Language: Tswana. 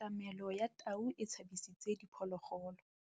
Katamêlô ya tau e tshabisitse diphôlôgôlô.